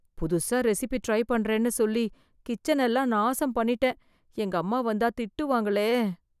புதுசா recipe try பண்றேன்னு சொல்லி கிச்சன் எல்லாம் நாசம் பண்ணிட்டேன் எங்க அம்மா வந்து திட்டுவாங்களே